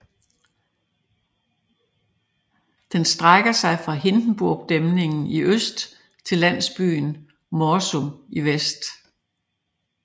Den strækker sig fra Hindenburgdæmningen i øst til landsbyen Morsum i vest